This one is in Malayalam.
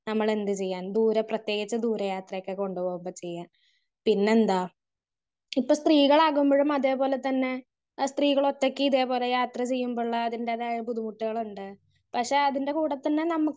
സ്പീക്കർ 1 നമ്മള് എന്ത് ചെയ്യാൻ ദൂരെ പ്രതേകിച്ച് ദൂര യാത്രക്കൊക്കെ കൊണ്ട് പോകുമ്പോ ചെയ്യാൻ. പിന്നെന്താ ഇപ്പൊ സ്ത്രീകളാകുമ്പോഴും അതേ പോലെ തന്നെ സ്ത്രീകളൊറ്റക്ക് ഇതേ പോലെ യാത്ര ചെയ്യുമ്പള്ള അതിൻ്റെ തായ പല ബുദ്ധിമുട്ടുകളുമുണ്ട്. പക്ഷെ അതിൻ്റെ കൂടെ തന്നെ നമുക്ക്